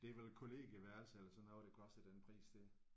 Det er vel kollegieværelser eller sådan noget der koster den pris der